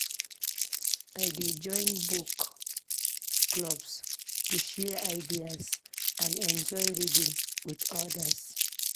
I dey join book clubs to share ideas and enjoy reading with others.